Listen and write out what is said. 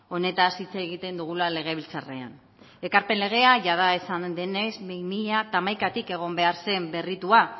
honetaz hitz egiten dugula legebiltzarrean ekarpen legea jada esan denez bi mila hamaikatik egon behar zen berritua